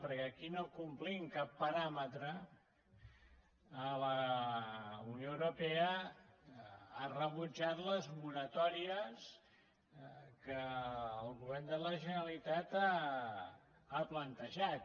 perquè aquí no complim cap paràmetre la unió europea ha rebutjat les moratòries que el govern de la generalitat ha plantejat